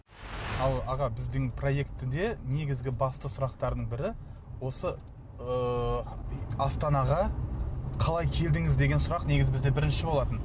ал аға біздің проектіде негізгі басты сұрақтардың бірі осы ыыы астанаға қалай келдіңіз деген сұрақ негізі бізде бірінші болатын